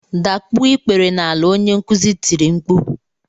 Dakpuo ikpere n'ala, onye nkuzi tiri mkpu!